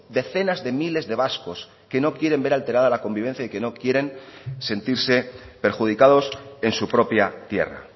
decenas de miles de vascos que no quieren ver alterada la convivencia y que no quieren sentirse perjudicados en su propia tierra